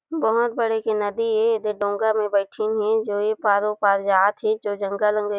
बहोत बड़ी एक नदी ए येदे डोंगा में बैठींन हे जो ए पार ओ पार जाथे जो जंगल-उंगल--